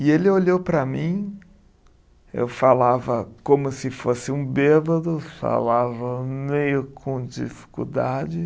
E ele olhou para mim, eu falava como se fosse um bêbado, falava meio com dificuldade.